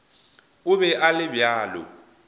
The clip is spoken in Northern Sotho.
o be a le bjalo